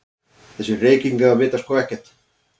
Þessir Reykvíkingar vita sko ekkert!